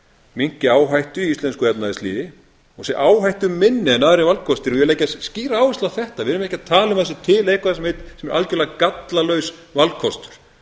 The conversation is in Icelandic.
minnki áhættu í íslensku efnahagslífi og sé áhættuminni en aðrir valkostir vil leggja skýra áherslu á þetta við erum ekki að tala um að það sé eitthvað sem er algjörlega gallalaus valkostur